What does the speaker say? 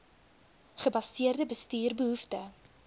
gebaseerde bestuur behoefte